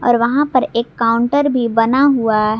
और वहां पर एक काउंटर भी बना हुआ है।